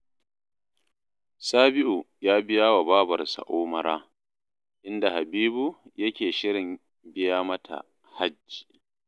Sabi'u ya biya wa babarsa Umara, inda Habibu yake shirin biya mata Hajji